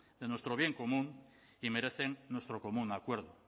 de nuestro bien común y merecen nuestro común acuerdo